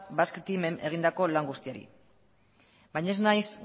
basque team en egindako lan guztiari baina ez naiz